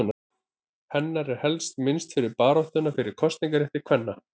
Hennar er helst minnst fyrir baráttuna fyrir kosningarétti kvenna.